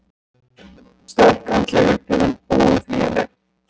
Sterk andleg upplifun óumflýjanleg